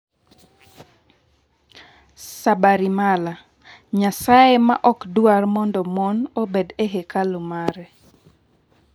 Sabarimala: Nyasaye ma ok dwar mondo mon obed e hekalu mare